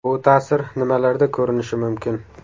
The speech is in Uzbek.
Bu ta’sir nimalarda ko‘rinishi mumkin?